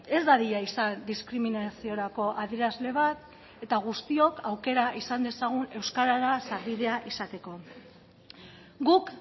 ez dadila izan diskriminaziorako adierazle bat eta guztiok aukera izan dezagun euskarara sarbidea izateko guk